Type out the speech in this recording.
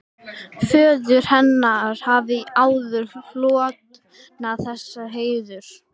Föður hennar hafði áður hlotnast þessi heiður.